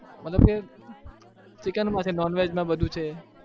મતલબ કે Chicken માં કે non-veg માં બધું છે,